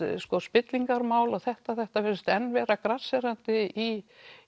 spillingarmál og þetta þetta virðist enn vera grasserandi í